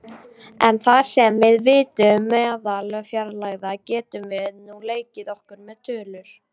En þar sem við vitum meðalfjarlægðina getum við nú leikið okkur með tölur.